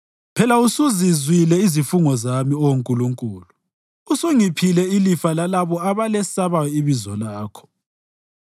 Phela usuzizwile izifungo zami, Oh Nkulunkulu; usungiphile ilifa lalabo abalesabayo ibizo lakho.